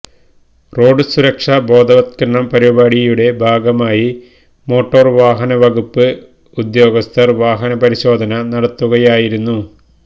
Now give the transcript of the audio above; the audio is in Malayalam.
റോഡ് സുരക്ഷാ ബോധവത്കരണ പരിപാടിയുടെ ഭാഗമായി മോട്ടോർ വാഹന വകുപ്പ് ഉദ്യോഗസ്ഥർ വാഹനപരിശോധന നടത്തുകയായിരുന്നു